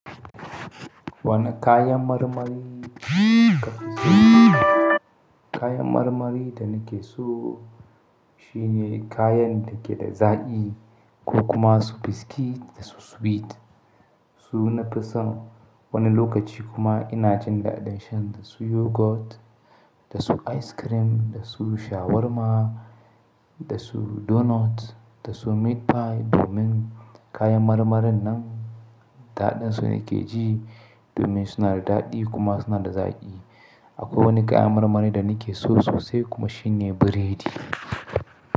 Wani kayan marmari kayan marmari da nake so shine kayan da ke da zaƙi ko kuma su biscuit da su sweet. Su nafi son wani lokaci kuma ina jin daɗin shan dasu yogurt, dasu ice cream, dasu shawarma, dasu donut, dasu meat pie domin kayan marmarin nan daɗinsu ne ke ji domin suna da daɗi kuma suna da zaƙi. Akwai wani kayan marmarin da nake so sosai kuma shine biredi.